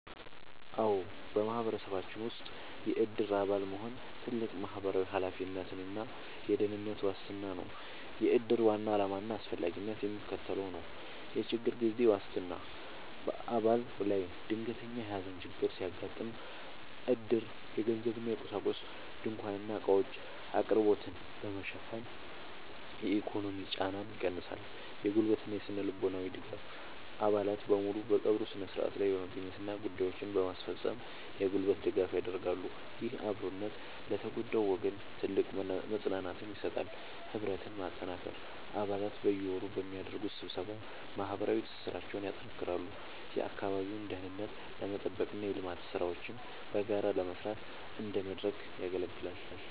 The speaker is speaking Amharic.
አዎ፣ በማህበረሰባችን ውስጥ የዕድር አባል መሆን ትልቅ ማህበራዊ ኃላፊነትና የደህንነት ዋስትና ነው። የዕድር ዋና ዓላማና አስፈላጊነት የሚከተለው ነው፦ የችግር ጊዜ ዋስትና፦ በአባል ላይ ድንገተኛ የሐዘን ችግር ሲያጋጥም፣ ዕድር የገንዘብና የቁሳቁስ (ድንኳንና ዕቃዎች) አቅርቦትን በመሸፈን የኢኮኖሚ ጫናን ይቀንሳል። የጉልበትና ስነ-ልቦናዊ ድጋፍ፦ አባላት በሙሉ በቀብሩ ሥነ ሥርዓት ላይ በመገኘትና ጉዳዮችን በማስፈጸም የጉልበት ድጋፍ ያደርጋሉ። ይህ አብሮነት ለተጎዳው ወገን ትልቅ መጽናናትን ይሰጣል። ህብረትን ማጠናከር፦ አባላት በየወሩ በሚያደርጉት ስብሰባ ማህበራዊ ትስስራቸውን ያጠናክራሉ፤ የአካባቢውን ደህንነት ለመጠበቅና የልማት ሥራዎችን በጋራ ለመስራት እንደ መድረክ ያገለግላል።